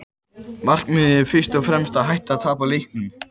Markmiðið er fyrst og fremst að hætta að tapa leikjum.